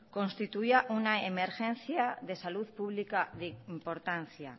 constituía una emergencia de salud pública de importancia